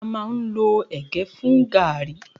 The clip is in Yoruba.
A má ń lo ẹ̀gẹ́ fún gààríí.